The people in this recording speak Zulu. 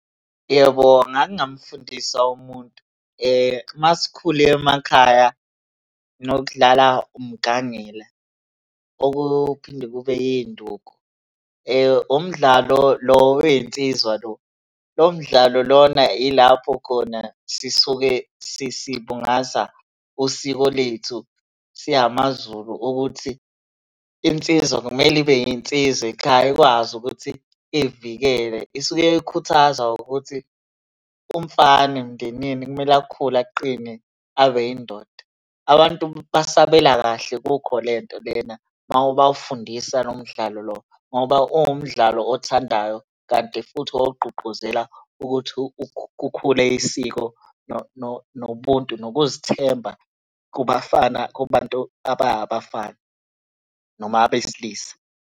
Yebo, ngake ngamfundisa umuntu. Uma sikhula emakhaya sinokudlala umgangela, okuphinde kube yinduku. Umdlalo lo wey'nsizwa lo. Lo mdlalo lona ilapho khona sisuke sibungaza usiko lethu singamaZulu ukuthi, insizwa kumele ibe insizwa ekhaya ikwazi ukuthi ivikele. Isuke ikhuthazwa ukuthi umfana emndenini kumele akhule aqine abe yindoda. Abantu basabela kahle kukho le nto lena uma ubafundisa lo mdlalo lo, ngoba uwumdlalo othandayo kanti futhi ogqugquzela ukuthi kukhule isiko nobuntu ngokuzithemba kubafana, kubantu aba abafana noma abesilisa.